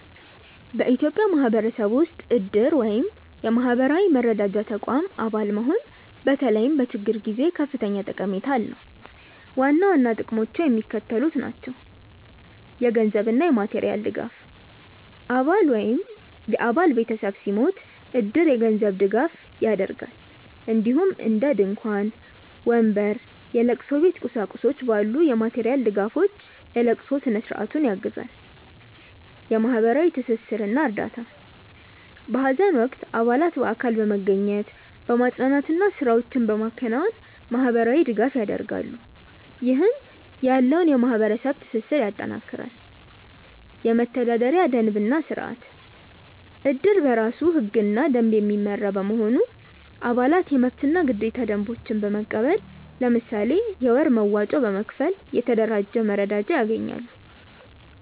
በኢትዮጵያ ማህበረሰብ ውስጥ እድር (የማህበራዊ መረዳጃ ተቋም) አባል መሆን በተለይም በችግር ጊዜ ከፍተኛ ጠቀሜታ አለው። ዋና ዋና ጥቅሞቹ የሚከተሉት ናቸው - የገንዘብ እና የማቴሪያል ድጋፍ: አባል ወይም የአባል ቤተሰብ ሲሞት እድር የገንዘብ ድጋፍ ያደርጋል፣ እንዲሁም እንደ ድንኳን፣ ወንበር፣ የለቅሶ ቤት ቁሳቁሶች ባሉ የማቴሪያል ድጋፎች የለቅሶ ስነ-ስርዓቱን ያግዛል። የማህበራዊ ትስስር እና እርዳታ: በሀዘን ወቅት አባላት በአካል በመገኘት፣ በማፅናናት እና ስራዎችን በማከናወን ማህበራዊ ድጋፍ ያደርጋሉ፣ ይህም ያለውን የማህበረሰብ ትስስር ያጠናክራል። የመተዳደሪያ ደንብ እና ስርአት: እድር በራሱ ህግና ደንብ የሚመራ በመሆኑ፣ አባላት የመብትና ግዴታ ደንቦችን በመቀበል፣ ለምሳሌ የወር መዋጮ በመክፈል፣ የተደራጀ መረዳጃ ያገኛሉ።